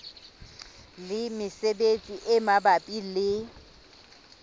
le mesebetsi e mabapi le